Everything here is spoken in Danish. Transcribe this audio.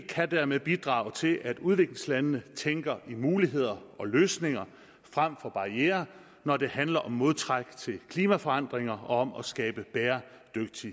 kan dermed bidrage til at udviklingslandene tænker i muligheder og løsninger frem for barrierer når det handler om modtræk til klimaforandringer og om at skabe det er